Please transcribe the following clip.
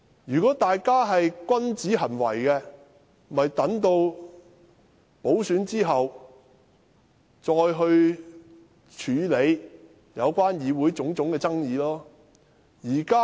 如果大家是君子，便應留待補選後再去處理議會的種種爭議。